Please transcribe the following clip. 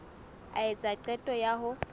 a etsa qeto ya ho